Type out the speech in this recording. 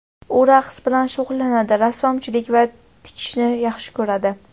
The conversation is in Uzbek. U raqs bilan shug‘ullanadi, rassomchilik va tikishni yaxshi ko‘radi.